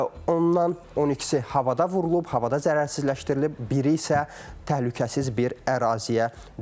Ondan 12-si havada vurulub, havada zərərsizləşdirilib, biri isə təhlükəsiz bir əraziyə düşüb.